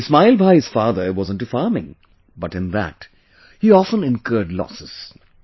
Ismail Bhai's father was into farming, but in that, he often incurred losses